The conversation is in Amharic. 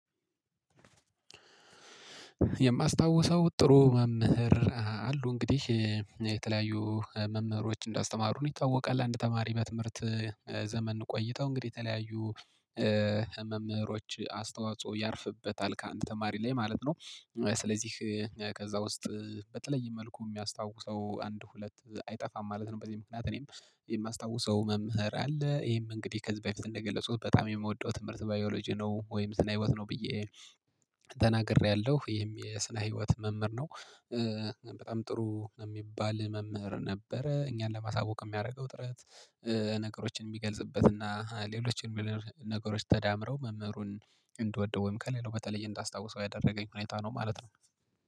የማስታውሰው ጥሩ መምህር አሉ እንግዲህ የተለያዩ መምህሮች እንዳስተማሩን ይታወቃል አንድ ተማሪ በትምህርት ዘመን ቆይተው እንግዲህ የተለያዩ መምህሮች አስተዋጽኦ ያርፍበታል ከአንድ ተማሪ ላይ ማለት ነው። ስለዚህ ከዛ ውስጥ በተለየ መልኩ የሚያስታውሰው አንድ ሁለት አይጠፋም ማለት ነው። በዚህ ምክንያት እኔም የማስታውሰው መምህር አለ። ይሄም እንግዲህ ከዚህ በፊት እንደገለጹት በጣም የምወደው ትምህርት ባዮሎጂ ነው ወይም ስነህይወት ነው ብዬ ተናግሬያለሁ። ይሄም የስነ ህይወት መምህር ነው። በጣም ጥሩ የሚባል መምህር ነበረ እኛን ለማሳወቅ የሚያደርገው ጥረት። ነገሮችን የሚገልጽበት እና ሌሎችን የሚለው ነገሮች ተዳምረው መምህሩን እንድወደው ወይም ከሌላው በተለየ እንዳስታውሰው ያደረገኝ ሁኔታ ነው ማለት ነው።